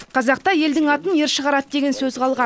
қазақта елдің атын ер шығарады деген сөз қалған